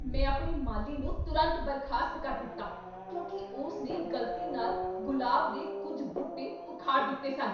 ਮੈਂ ਆਪਣੇ ਮਾਲੀ ਨੂੰ ਤੁਰੰਤ ਬਰਖਾਸਤ ਕਰ ਦਿੱਤਾ ਕਿਉਂਕਿ ਉਸ ਨੇ ਗ਼ਲਤੀ ਨਾਲ ਗੁਲਾਬ ਦੇ ਕੁੱਝ ਬੂਟੇ ਉਖਾੜ ਦਿੱਤੇ ਸਨ।